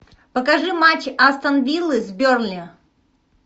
покажи матч астон виллы с бернли